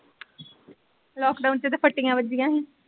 Lockdown ਚ ਤੇ ਫੱਟੀਆਂ ਵੱਜੀਆਂ ਸੀ।